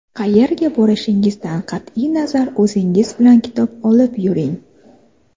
Qayerga borishingizdan qat’iy nazar o‘zingiz bilan kitob olib yuring.